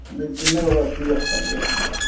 Demək olar ki, yox səviyyəsindədir.